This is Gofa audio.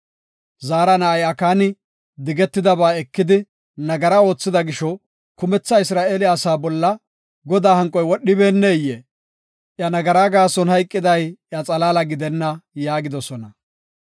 Zaara na7ay Akaani digetidaba ekidi, nagara oothida gisho, kumetha Isra7eele asaa bolla Godaa hanqoy wodhibeenneyee? Iya nagara gaason hayqiday iya xalaala gidenna’ ” yaagidosona.